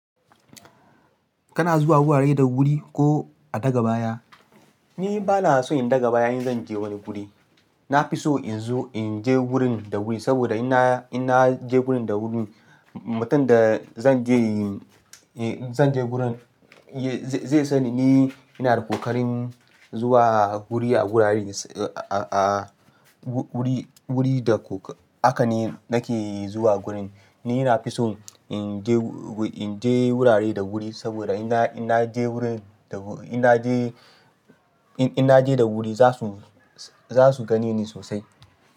Kana zuwa wurare da wuri ko a daga baya? Ni bana so in daga baya in zan je wani guri. Na fi so in zo-- in je wurin da wuri, saboda in na, in na je gurin da wuri, muten da zan je, eh zan je gurun, ya-- zai sani ni ina da kokarin zuwa wuri a wurare a, a, a wu-wuri, wuri da aka ne nake zuwa wurin. Ni ina fi so in je, in je wurare da wuri saboda in na, in na je wurin da wu-- in na je, in na je da wuri za su, za su gane ni sosai.